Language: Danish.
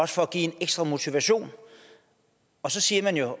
sådan en ekstra motivation og så siger man jo